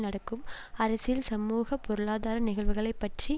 நடக்கும் அரசியல் சமூக பொருளாதார நிகழ்வுகளை பற்றி